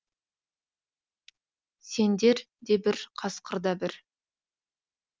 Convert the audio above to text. сендер де бір қасқыр да бір